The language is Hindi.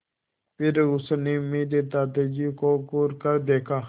फिर उसने मेरे दादाजी को घूरकर देखा